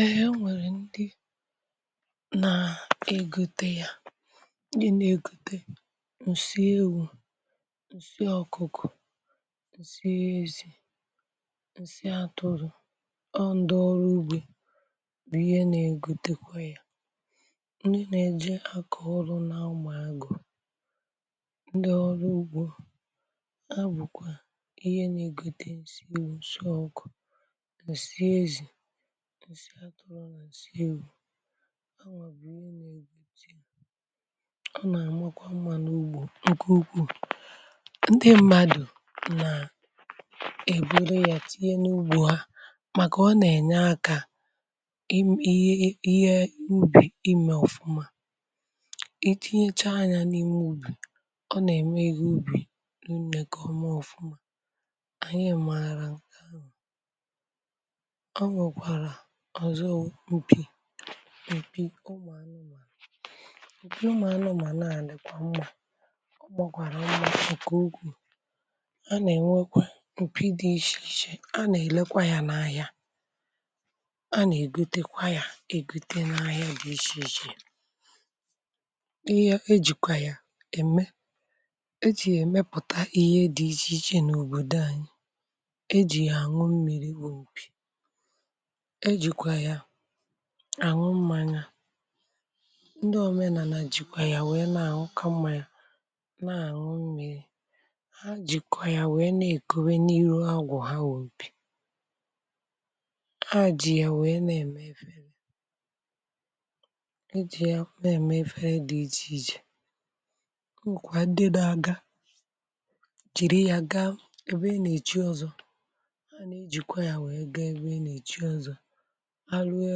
Ehee, nwèrè ndị na-egote ya um ndị na-egote nsị ewū, nsị ọkụ̀kụ̀, nsị ezì, nsị atụrụ̀. Ndị ọrụ ugbè bụ̀kwa ihe na-egotekwa ya ndị na-eje ọrụ n’anụ̄mà agụ̀, ndị ọrụ ugbò... A bụ̀kwa ihe na-egote nsị ezì, nsị ọkụ̀, nsị atụrụ̀ na nsị ewū. Ọ na-eme ka mma n’ugbò, (ụm) nke ugwū, ndị mmadụ na-eburu ya tinye n’ugbò ha maka na ọ na-enye aka ime ihe ubi ọma. Itinyecha anya n’ime ubi ọ na-eme ebe ubi n’umèké ọmụ̀ ọma. Anyị e maara nke ọzọ, anwụ̄ ọzọ um m̀pì, m̀pì ụmụ̀anụ̀mà. Ụmụ̀anụ̀mà na-ana lèkwa mma, ọ na-egwàrà mma nke ukwū... A na-enwekwa m̀pì dị iche iche a na-elekwa ya n’ahịa, a na-egotekwa ya, e gote n’ahịa dị iche iche. Ihe e ji kwa ya eme e ji emepụta ihe dị iche iche n’òbòdò anyị. um E ji ya àṅụ mmīri, wù m̀pì; e jikwaa ya anwụ̄ mmanya. Ndị omenala jikwaa ya wee na-anwụ̄kà mmanya, na-anwụ̄ mmiri. Ha jikwaa ya wee na-ekobe n’iru agwụ̀ ha, wubè ha um ji ya wee na-eme efere, e ji ya na-eme efere dị iche iche. M̀kwa dedo a ga-eji ya gaa ebe e na-eji ọzọ. Ha na-ejikwa ya wee gaa ebe e na-eji ọzọ alụ ọ̀...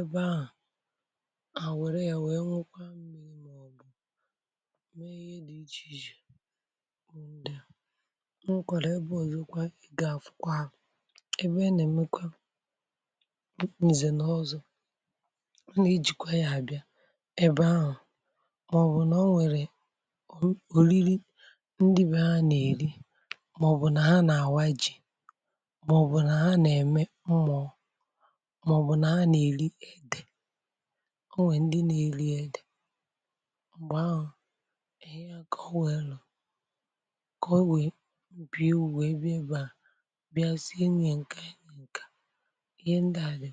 Ebe ahụ̀ a, wèrè ya wee nwụkwa mma, ìmàọ̀bụ mee ihe dị iche iche. Ndị a m wụkwara ebe oziokwa gaa, a fụkwara ebe a na-eme kwa ìzè na ọzọ̄. Ọ na-ejikwa ya abịa ebe ahụ̀, màọ̀bụ um nà ọ nwèrè òrìrì ndị be ha na-èri, màọ̀bụ nà ha na-àwa ji, màọ̀bụ nà ha na-eme mmụọ. Ọ nwe ndị na-eli ede n’oge ahụ̀ um enyi ya ka o nwe elū, ka o wee bịa ubi ebi ebe a bịa si enyi nke enyi nke ihe ndí.